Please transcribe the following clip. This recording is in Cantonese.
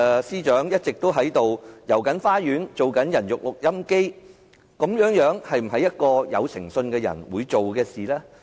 司長一直在"帶我們遊花園"，當"人肉錄音機"，這是否一個有誠信的人該做的事？